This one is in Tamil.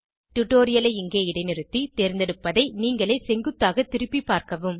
டுடோரியலை இங்கே இடைநிறுத்தி தேர்ந்தெடுப்பதை நீங்களே செங்குத்தாக திருப்பி பார்க்கவும்